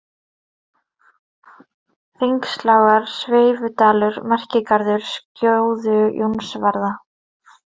Hringslágar, Skeifudalur, Merkigarður, Skjóðu-Jónsvarða